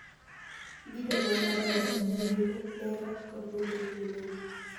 gi jonyuol madongo, nyimine, nera, kod nyithind nyimine